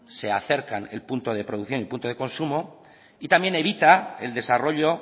se acercan el punto de producción y el punto de consumo y también evita el desarrollo